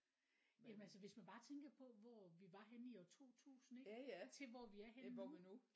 Jamen altså hvis man bare tænker på hvor vi var henne i år 2000 ikke til hvor vi er henne nu